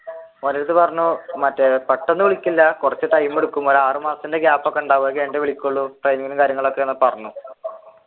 ഓന്റെയടുത്തു പറഞ്ഞു പെട്ടെന്ന് വിളിക്കില്ല കുറച്ചു ടൈം എടുക്കും ഒരു ആറു മാസത്തിന്റെ gap ഉണ്ടാവും അത് കഴിഞ്ഞിട്ടേ വിളിക്കുള്ളു